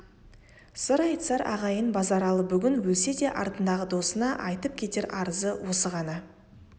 сыр айтысар ағайын базаралы бүгін өлсе де артындағы досына айтып кетер арызы осы ғана